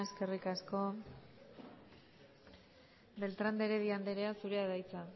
beltrán de heredia andrea zurea da hitza